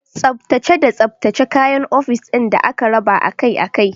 Tsaftace da tsaftace kayan ofis ɗin da aka raba akai akai.